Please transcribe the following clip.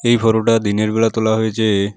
এই ফটোটা দিনের বেলা তোলা হয়েছে।